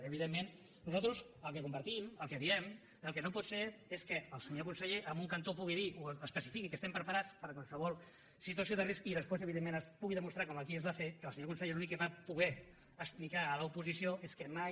evidentment nosaltres el que compartim el que diem el que no pot ser és que el senyor conseller en un cantó pugui dir o especifiqui que estem preparats per a qualsevol situació de risc i després evidentment es pugui demostrar com aquí es va fer que el senyor conseller l’únic que va poder explicar a l’oposició és que mai